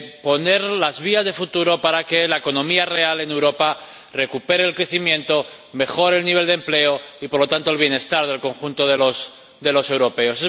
poner las vías de futuro para que la economía real en Europa recupere el crecimiento y mejore el nivel de empleo y, por lo tanto, el bienestar del conjunto de los de los europeos.